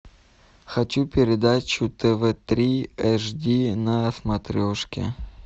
хочу передачу тв три эш ди на смотрешке